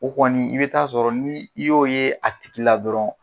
O kɔni i bɛ taa'a sɔrɔ ni i y'o ye a tigi la dɔrɔn.